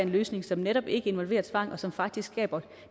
løsning som netop ikke involverer tvang og som faktisk skaber